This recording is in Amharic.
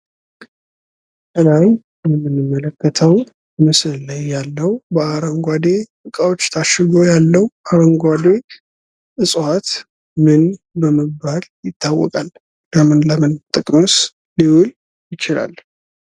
ከላይ በምንመለከተው ምስል ላይ ያለው በአረንጓዴ እቃዎች ታሽጎ ያለው አረንጓዴ እጽዋት ምን በመባል ይታወቃል? ለምን ለምን ጥቅምስ ሊውል ይችላል?